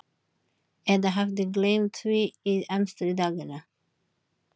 Eða hafði gleymt því í amstri daganna.